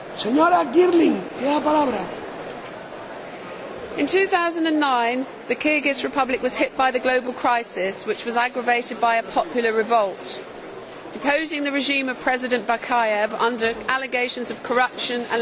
Mr President, in 2009 the Kyrgyz Republic was hit by the global crisis, which was aggravated by a popular revolt deposing the regime of President Bakiyev amidst allegations of corruption and lack of democracy.